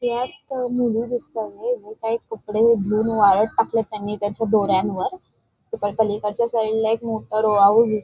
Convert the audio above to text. त्यात मुली दिसतायत हे काही कपडे धुवून वाळत टाकलेत त्यांनी त्याच्या दोऱ्यांवर तिकडे पलीकडच्या साईडला मोठा रो-हाऊस --